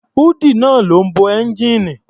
Húùdù náà ló bo ẹ́ńgijíìnì.